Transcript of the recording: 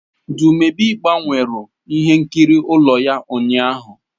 Dumebi gbanweru ihe nkiri ụlọ ya ụnyahụ.